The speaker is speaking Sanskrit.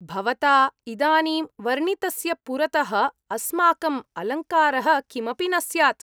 भवता इदानीं वर्णितस्य पुरतः अस्माकं अलङ्कारः किमपि न स्यात्।